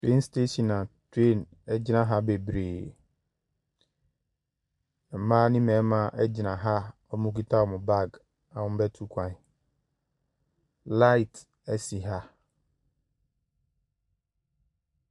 Train station a train gyina ha bebree. Mmaa ne mmarima gyina ha a wɔkita wɔn baage a wɔrebɛtu kwan. Light si ha.